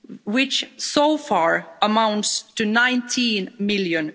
which so far amounts to EUR 19 million.